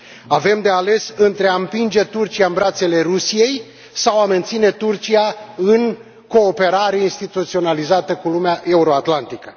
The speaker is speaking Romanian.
Avem de ales între a împinge Turcia în brațele Rusiei sau a menține Turcia în cooperare instituționalizată cu lumea euroatlantică.